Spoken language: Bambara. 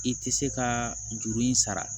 I tɛ se ka juru in sara